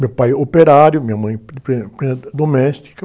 Meu pai é operário, minha mãe é empregada doméstica.